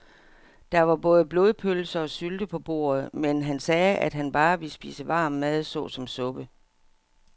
Der var både blodpølse og sylte på bordet, men han sagde, at han bare ville spise varm mad såsom suppe.